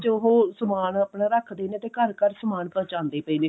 ਉਹ ਸਮਾਨ ਆਪਣਾ ਰੱਖਦੇ ਨੇ ਤੇ ਘਰ ਘਰ ਸਮਾਨ ਪੁਹੰਚਾਉਂਦੇ ਪਏ ਨੇ